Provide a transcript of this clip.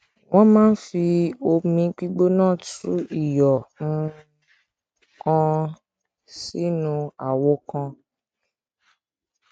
wọn máa ń fi omi gbígbóná tú iyọ um kan sínú àwo kan